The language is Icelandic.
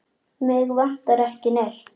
Mig vantar ekki neitt.